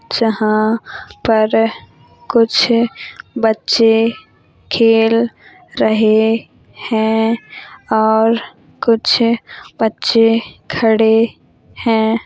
जहाँ पर कुछ बच्चे खेल रहे हैं और कुछ बच्चे खड़े हैं।